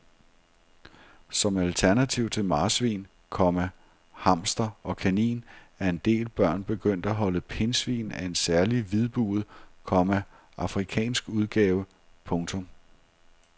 Som alternativ til marsvin, komma hamster og kanin er en del børn begyndt at holde pindsvin af en særlig hvidbuget, komma afrikansk udgave. punktum